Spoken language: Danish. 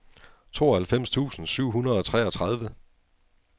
tooghalvfems tusind syv hundrede og treogtredive